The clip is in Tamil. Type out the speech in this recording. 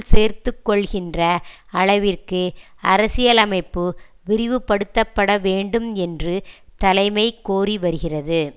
சேர்த்துக்கொள்கின்ற அளவிற்கு அரசியலமைப்பு விரிவுபடுத்தப்பட வேண்டும் என்று தலைமை கோரி வருகிறது